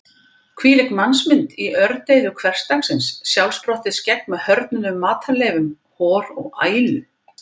Hvílík mannsmynd mitt í ördeyðu hversdagsins: sjálfsprottið skegg með hörðnuðum matarleifum, hor og ælu.